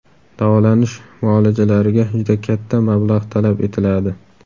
Davolanish muolajalariga juda katta mablag‘ talab etiladi.